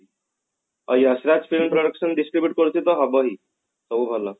ଆଉ Yash Raj film production distribute କରୁଛି ତ ହବ ହିଁ ସବୁ ଭଲ